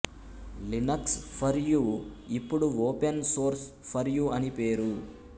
Linux for you ఇప్పుడు open source for you అని పేరు